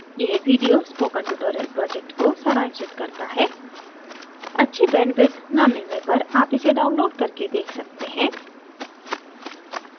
यह video spoken tutorial project को सारांशित करता है अच्छी bandwidth न मिलने पर आप इसे download और देख सकते हैं